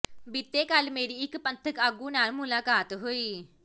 ਬੀਤੇ ਕਲ ਮੇਰੀ ਇਕ ਪੰਥਕ ਆਗੂ ਨਾਲ ਮੁਲਾਕਾਤ ਹੋਈ